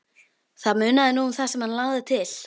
Það munaði nú um það sem hann lagði til.